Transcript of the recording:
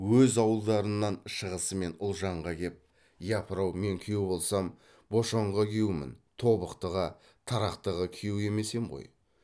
өз ауылдарынан шығысымен ұлжанға кеп япырау мен күйеу болсам бошанға күйеумін тобықтыға тарақтыға күйеу емес ем ғой